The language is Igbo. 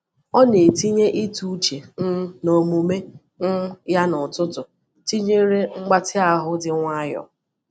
Ọ na-etinye ịtụ uche um n’omume um ya n’ụtụtụ tinyere mgbatị ahụ dị nwayọọ.